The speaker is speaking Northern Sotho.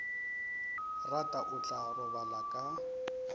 rata o tla robala ka